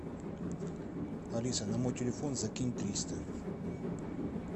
алиса на мой телефон закинь триста